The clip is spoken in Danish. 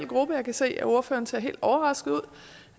gruppe jeg kan se at ordføreren ser helt overrasket ud